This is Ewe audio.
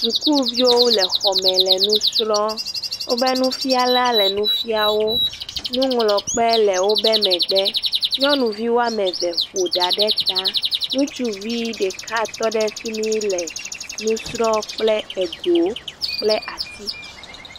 Sukuviwo le xɔ me le nu srɔ̃m, wobe nufialawo le nu fia wo, nuŋlɔkpe le wobe megbe, nyɔnuvi woame ve ƒo ɖa ɖe ta. ŋutsuvi ɖeka tɔ ɖe fi mi le nu srɔ̃ kple ego kple ati.